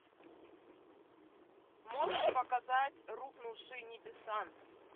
можешь показать рухнувшие небеса